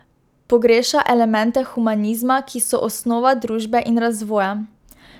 Pogreša elemente humanizma, ki so osnova družbe in razvoja.